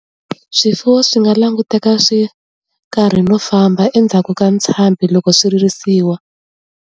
Swifuwo swi nga languteka swi karhi no famba endzhaku ka ntshambhi loko swi risiwa.